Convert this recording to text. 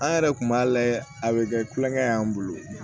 An yɛrɛ kun b'a lajɛ a bɛ kɛ kulonkɛ y'an bolo